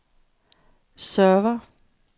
server